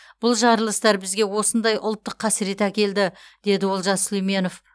бұл жарылыстар бізге осындай ұлттық қасірет әкелді деді олжас сүлейменов